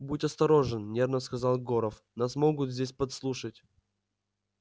будь осторожен нервно сказал горов нас могут здесь подслушать